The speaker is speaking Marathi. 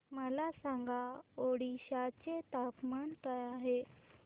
मला सांगा ओडिशा चे तापमान काय आहे